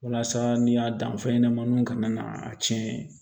Walasa n'i y'a dan fɛnɲɛnɛmaninw ka na a tiɲɛ